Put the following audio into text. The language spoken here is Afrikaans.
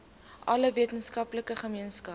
alle weskaapse gemeenskappe